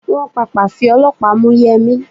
Wọ́n Pàpà fi ọlọ́pàá mú Yẹmi.